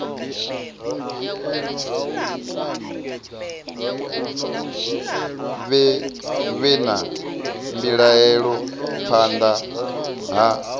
vhe na mbilaelo phanḓa ha